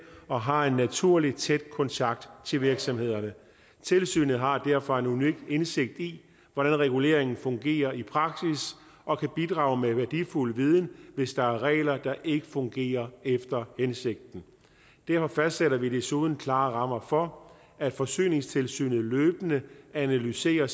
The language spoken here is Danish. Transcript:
og har en naturlig tæt kontakt til virksomhederne tilsynet har derfor en unik indsigt i hvordan reguleringen fungerer i praksis og kan bidrage med værdifuld viden hvis der er regler der ikke fungerer efter hensigten derfor fastsætter vi desuden klare rammer for at forsyningstilsynet løbende analyserer